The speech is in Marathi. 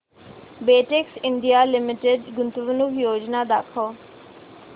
बेटेक्स इंडिया लिमिटेड गुंतवणूक योजना दाखव